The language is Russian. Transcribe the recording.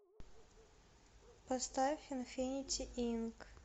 поставь инфинити инк